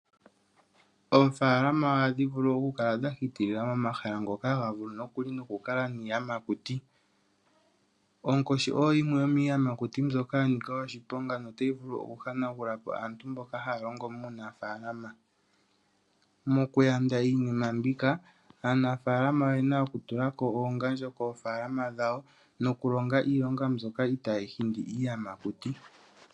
Oofaalama ohadhi kala dha hitilila momahala ngoka haga vulu nokuli noku kala iiyamakuti. Onkoshi oyo yimwe yomiiyamakuti mbyoka yanika oshiponga notayi vulu oku hanagulapo aantu mboka haya longo muunafaalama. Mokuyanda iinima mbika aanafaalama oyena oku tula ko oongandjo dhawo nokulonga iilongo mbyoka i taayi hindi iiyamakuti.